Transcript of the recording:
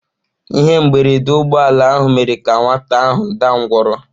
Ihe mberede ụgbọ ala ahụ mere ka nwata ahụ daa ngwọrọ.